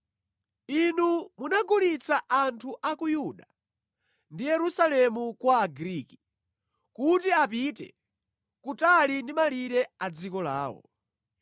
Inu munagulitsa anthu a ku Yuda ndi Yerusalemu kwa Agriki, kuti apite kutali ndi malire a dziko lawo.